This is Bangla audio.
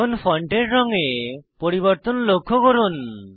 এখন ফন্টের রঙে পরিবর্তন লক্ষ্য করুন